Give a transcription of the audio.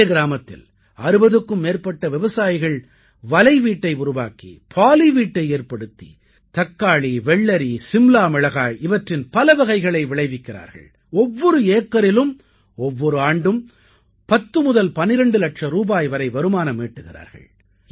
இதே கிராமத்தில் 60க்கும் மேற்பட்ட விவசாயிகள் வலைவீட்டை உருவாக்கி பாலி வீட்டை ஏற்படுத்தி தக்காளி வெள்ளரி சிம்லா மிளகாய் இவற்றின் பலவகைகளை விளைவிக்கிறார்கள் ஒவ்வொரு ஏக்கரிலும் ஒவ்வொரு ஆண்டும் 10 முதல் 12 இலட்சம் ரூபாய் வரை வருமானம் ஈட்டுகிறார்கள்